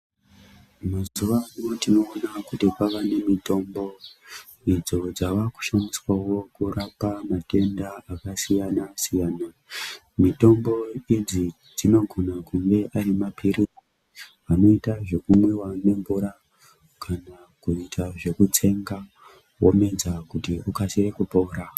Mazuwa ano tinoona kuti kwava nemitombo idzo dzava kushandiswawo kurapa matenda akasiyana siyana. Mitombo idzi dzinogona kunge ari mapirizi anoita zvekumwiwa nemvura kana kuita zvekutsenga womedza kuti ukasire kupora.